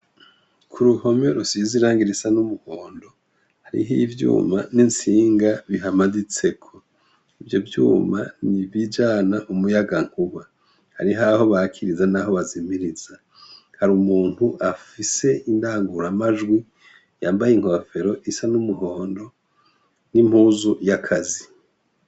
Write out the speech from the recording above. Uruhome rusize irangi risa numuhondo hariho ivyuma bahamanitseho ivyo vyuma nibijana umuyagankuba hari aho batsa naho bazimiriza hakaba umuntu afise indanguruta majwi yambaye inkofero isa numuhondo nimpuzu yakazi.